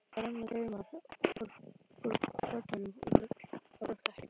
Og það renna taumar úr pollunum út á grátt teppið.